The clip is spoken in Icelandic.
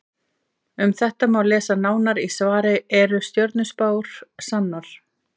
Um þetta má lesa nánar í svari Eru stjörnuspár sannar?